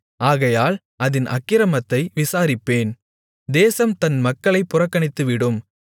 ஆகையால் அதின் அக்கிரமத்தை விசாரிப்பேன் தேசம் தன் மக்களை புறக்கணித்துவிடும்